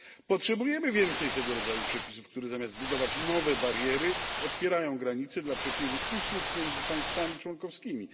Potrzebujemy więcej tego rodzaju przepisów, które zamiast budować nowe bariery, otwierają granice dla przepływu usług między państwami członkowskimi.